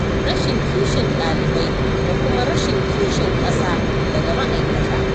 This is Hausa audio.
Rashin kishin ɗalibai, da kuma rashin kishin ƙasa, daga ma'aikata